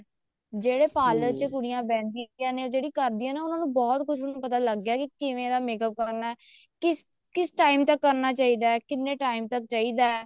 ਜਿਹੜੀ parlor ਚ ਕੁੜੀਆਂ ਬਹਿੰਦੀਆਂ ਨੇ ਜਿਹੜੀ ਕਰਦੀਆਂ ਨੇ ਉਹਨਾ ਨੂੰ ਬਹੁਤ ਕੁੱਝ ਪਤਾ ਲੱਗ ਗਿਆ ਕੇ ਕਿਵੇਂ ਦਾ makeup ਕਰਨਾ ਕਿਸ time ਤੱਕ ਕਰਨਾ ਚਾਹੀਦਾ ਕਿੰਨੇ time ਤੱਕ ਚਾਹੀਦਾ